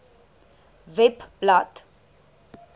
webblad